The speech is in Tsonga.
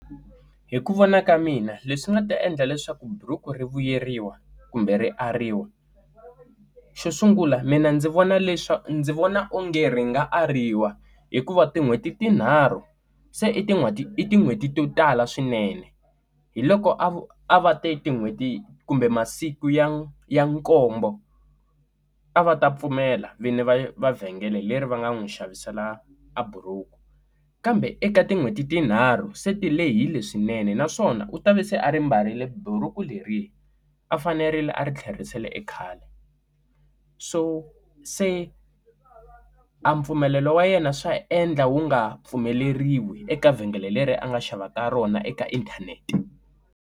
Hi ku vona ka mina leswi nga ta endla leswaku buruku ri vuyeriwa kumbe rivariwi xo sungula mina ndzi vona leswa ndzi vona onge ri nga ariwa hikuva tin'hweti tinharhu se i tin'hweti i tin'hweti to tala swinene hi loko a a va teki tin'hweti kumbe masiku ya ya nkombo a va ta pfumela vini va mavhengele leri va nga n'wi xavisela a buruku kambe eka tin'hweti tinharhu se ti lehile swinene naswona u ta va se a ri mbarile buruku leri a fanerile a ri tlherisela ekhale so se a mpfumelelo wa yena swa endla wu nga pfumeleriwi eka vhengele leri a nga xava ka rona eka inthanete.